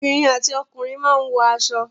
Obìnrin àti ọkùnrin máa ń wọ aṣọ.